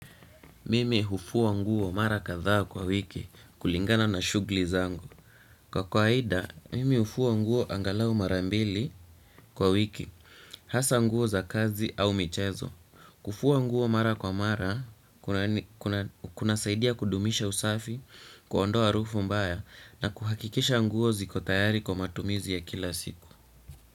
Mimi hufua nguo mara kadhaa kwa wiki kulingana na shughuli zangu. Kwa kwaida, mimi hufua nguo angalau mara mbili kwa wiki, hasa nguo za kazi au michezo. Kufua nguo mara kwa mara, kuna saidia kudumisha usafi, kuondoa harufu mbaya na kuhakikisha nguo ziko tayari kwa matumizi ya kila siku.